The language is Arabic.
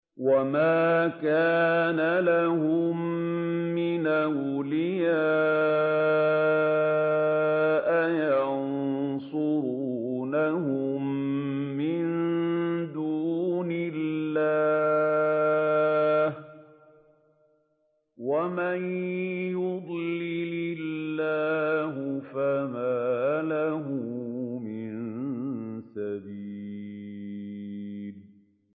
وَمَا كَانَ لَهُم مِّنْ أَوْلِيَاءَ يَنصُرُونَهُم مِّن دُونِ اللَّهِ ۗ وَمَن يُضْلِلِ اللَّهُ فَمَا لَهُ مِن سَبِيلٍ